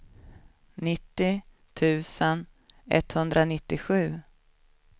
nittio tusen etthundranittiosju